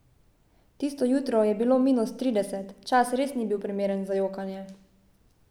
Tisto jutro je bilo minus trideset, čas res ni bil primeren za jokanje.